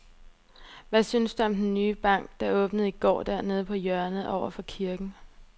Hvad synes du om den nye bank, der åbnede i går dernede på hjørnet over for kirken?